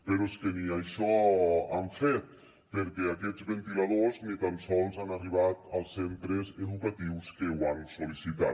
però és que ni això han fet perquè aquests ventiladors ni tan sols han arribat als centres educatius que ho han sol·licitat